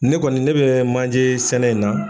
Ne kɔni ne bɛ manjesɛnɛ in na.